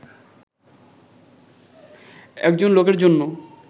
একজন লোকের জন্য